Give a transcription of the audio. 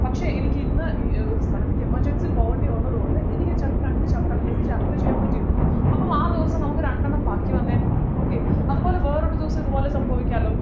പക്ഷേ എനിക്ക് ഇന്ന് ഏർ ഒരു സ്ഥലത്തേക്ക് emergency പോകേണ്ടി വന്നതുകൊണ്ട് എനിക്ക് ചിലപ്പോൾ രണ്ട് chapter അല്ലെങ്കിൽ ഒരു chapter എ ചെയ്യാൻ പറ്റിട്ടുള്ളു അപ്പോ ആ ദിവസം നമ്മക്ക് രണ്ടെണ്ണം ബാക്കി വന്നെ okay അതുപോലെ വേറൊരു ദിവസം ഇതുപോലെ സംഭവിക്കാല്ലോ